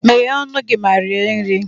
Meghee ọnụ gị ma rie nri!